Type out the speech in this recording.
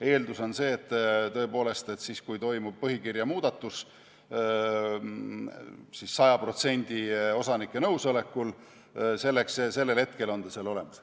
Eeldus on see, et kui toimub põhikirja muudatus 100% osanike nõusolekul, siis sellel hetkel on ta seal olemas.